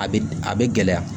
A bɛ a bɛ gɛlɛya